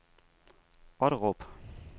Otterup